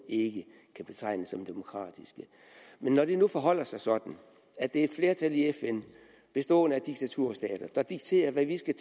ikke kan betegne som demokratiske når det nu forholder sig sådan at det er et flertal i fn bestående af diktaturstater der dikterer hvad vi skal